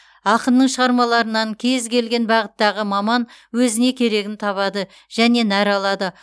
ақынның шығармаларынан кез келген бағыттағы маман өзіне керегін табады және нәр алады